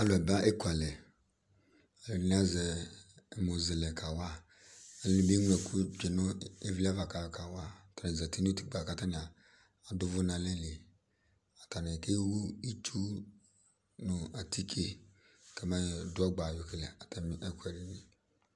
alʊ aba ekualɛ ɛdɩnɩ azɛ ɛmɔzelɛgawa ɛdɩnɩ eŋloɛkʊ tsue nʊ ɩvlɩava kayɔ kawa atanɩ zǝti nʊ utikpə katanɩ adʊvʊ nalɛli atani kewu ɩtsu nʊ atike katanɩ kamayɔ dʊ ɔgba yɔkele atamɩɛkʊɛdɩnɩ